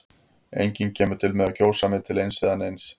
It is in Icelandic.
Enginn kemur til með að kjósa mig til eins eða neins.